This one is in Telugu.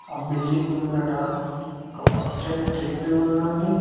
ఆ బిల్డింగ్ ముందట ఒక పచ్చని చెట్టు ఉన్నాది.